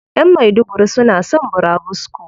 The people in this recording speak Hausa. Ƴan maiduguri suna son burabusko.